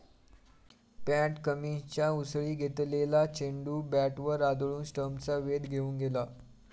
पॅट कमिन्सच्या उसळी घेतलेला चेंडू बॅटवर आदळून स्टम्प्सचा वेध घेऊन गेला.